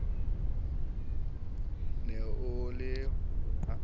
ne e le ho ya